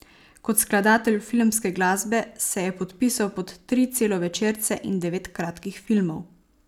Kot skladatelj filmske glasbe se je podpisal pod tri celovečerce in devet kratkih filmov.